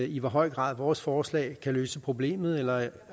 i hvor høj grad vores forslag kan løse problemet eller